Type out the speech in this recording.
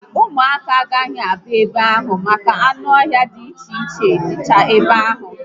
Ụmụaka agaghi abịa ebe ahụ maka na anụ ọhia di iche iche dịcha ebe ahụ